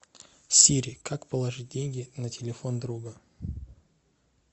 сири как положить деньги на телефон друга